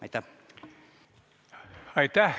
Aitäh!